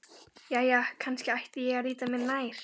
Jæja, kannski ætti ég að líta mér nær.